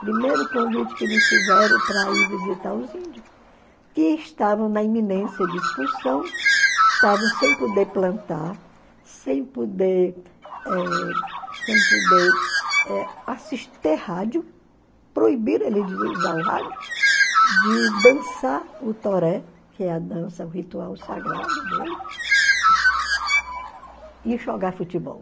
Primeiro convite que me fizeram para ir visitar os índios, que estavam na iminência de expulsão, estavam sem poder plantar, sem poder eh sem poder eh assis ter rádio, proibiram eles de usar o rádio, de dançar o toré, que é a dança, o ritual sagrado deles, e jogar futebol.